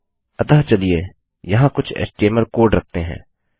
अतः चलिए यहाँ कुछ एचटीएमएल कोड रखते हैं